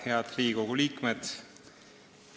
Head Riigikogu liikmed!